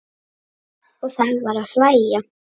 Og það var að hlæja.